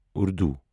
Urdu